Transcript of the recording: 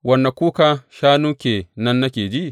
Wane kuka shanu ke nan nake ji?